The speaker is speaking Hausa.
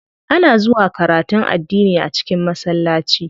Ana zuwa karatun addini a cikin masallaci.